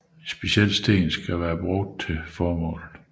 En speciel sten skal være benyttet til formålet